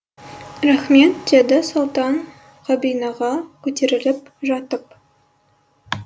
рақмет деді сұлтан кабинаға көтеріліп жатып